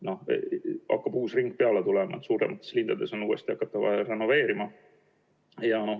Uus ring hakkab peale tulema, suuremates linnades on vaja hakata renoveerima.